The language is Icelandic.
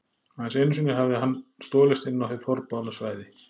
Aðeins einu sinni hafði hann stolist inn á hið forboðna svæði.